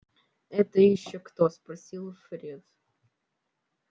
это ещё кто спросил фред